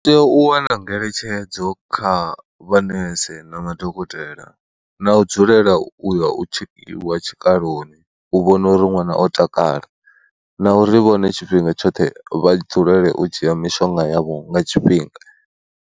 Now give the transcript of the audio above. U tea u wana ngeletshedzo kha vhamanese na madokotela na u dzulela u ya u tshekiwa tshikaloni u vhona uri ṅwana o takala na uri vhone tshifhinga tshoṱhe vha dzulele u dzhia mishonga yavho nga tshifhinga.